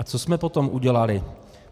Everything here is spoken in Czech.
A co jsme potom udělali?